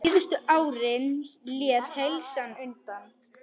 Síðustu árin lét heilsan undan.